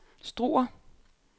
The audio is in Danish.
Struer